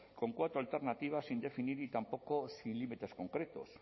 con cuatro alternativas sin definir y tampoco sin límites concretos